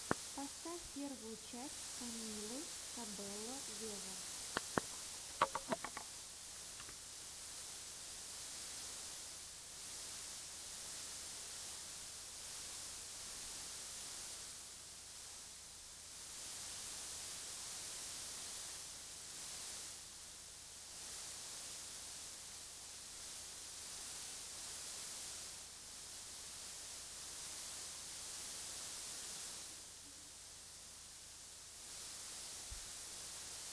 поставь первую часть камилы кабелло вево